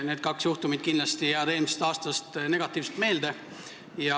Need kaks juhtumit jäävad kindlasti eelmisest aastast negatiivselt meelde.